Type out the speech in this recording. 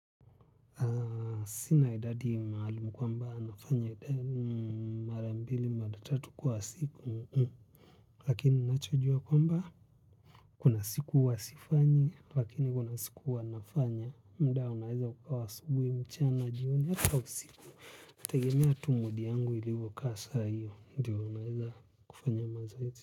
Sina idadi maalum kwamba nafanya idadi mara mbili, mara tatu kwa siku. Lakini ninachojua kwamba kuna siku huwa sifanyi, lakini kuna siku huwa nafanya. Muda unaweza ukawa wa asubuhi mchana, jioni, hata usiku. Tegemea tu mood yangu ilivyokaa saa hiyo. Ndiyo unaeza kufanya mazoezi.